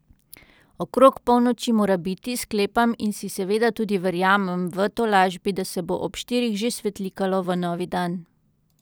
Okrog polnoči mora biti, sklepam in si seveda tudi verjamem v tolažbi, da se bo ob štirih že svetlikalo v novi dan.